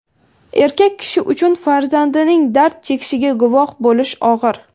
Erkak kishi uchun farzandining dard chekishiga guvoh bo‘lish og‘ir.